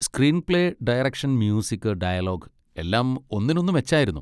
Screenplay, direction, music, dialogue, എല്ലാം ഒന്നിനൊന്ന് മെച്ചായിരുന്നു.